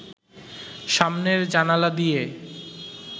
সামনের জানালা দিয়ে